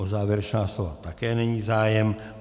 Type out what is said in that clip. O závěrečná slova také není zájem.